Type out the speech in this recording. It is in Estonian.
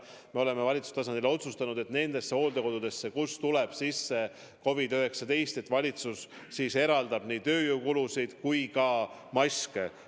Me oleme valitsuse tasandil otsustanud, et nendesse hooldekodudesse, kuhu tuleb sisse COVID-19, valitsus eraldab nii lisaraha tööjõukulude kattek kui ka maskide jaoks.